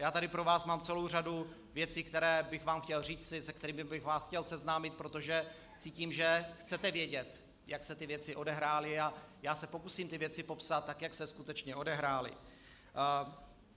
Já tady pro vás mám celou řadu věcí, které bych vám chtěl říci, se kterými bych vás chtěl seznámit, protože cítím, že chcete vědět, jak se ty věci odehrály, a já se pokusím ty věci popsat, tak jak se skutečně odehrály.